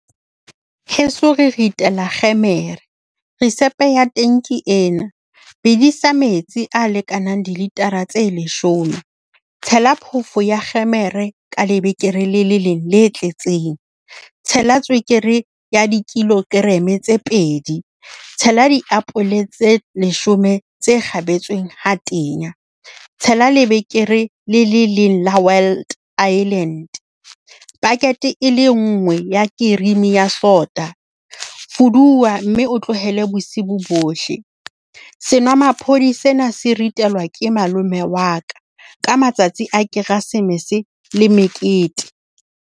Heso re ritela kgemere. Risepe ya teng ke ena. Bedisa metsi a lekanang dilitara tse leshome. Tshela phoofo ya kgemere ka lebekere le leng le tletseng. Tshela tswekere ya di-kilogram tse pedi. Tshela diapole tse leshome tse kgabetsweng ha tenya. Tshela lebekere le le leng la Wild Island. Packet e le nngwe ya cream ya sota. Fuduwa mme o tlohele bosibo bohle. Senomaphodi sena se ritelwa ke malome wa ka ka matsatsi a Keresemese le mekete.